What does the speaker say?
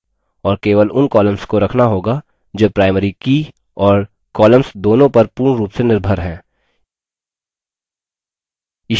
और key उन columns को रखना होगा जो primary की और columns दोनों पर पूर्ण रूप से निर्भर हैं